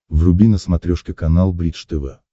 вруби на смотрешке канал бридж тв